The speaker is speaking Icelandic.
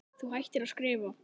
Þú hættir að skrifa.